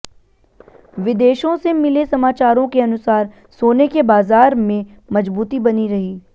विदेशों से मिले समाचारों के अनुसार सोने की बाजार में मजबूती बनी रही